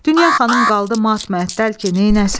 Dünya xanım qaldı mat-məəttəl ki, neyləsin?